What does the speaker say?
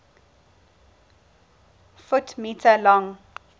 ft m long